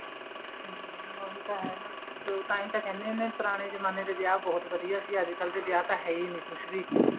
ਹਮ ਉਹੀ ਤਾਂ ਹੈ ਨਾ ਤਾਂਹੀ ਤਾਂ ਕਹਿੰਦੇ ਹੁਨੇ ਏ ਵੀ ਪੁਰਾਣੇ ਜਮਾਨੇ ਦੇ ਵਿਆਹ ਬਹੁਤ ਵਧੀਆ ਸੀ ਅੱਜਕਲ ਦੇ ਵਿਆਹ ਤਾਂ ਹੈ ਨਹੀਂ ਕੁੱਝ ਵੀ